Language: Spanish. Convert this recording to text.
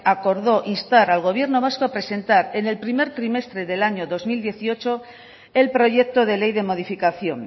acordó instar al gobierno vasco a presentar en el primer trimestre del año dos mil dieciocho el proyecto de ley de modificación